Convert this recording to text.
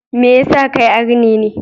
Me yasa kai arne ne?